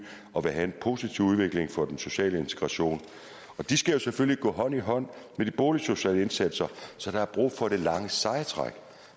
og vil have en positiv udvikling for den sociale integration og de skal selvfølgelig gå hånd i hånd med de boligsociale indsatser så der er brug for det lange seje træk